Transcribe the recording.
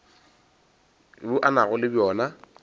bjo a nago le bjona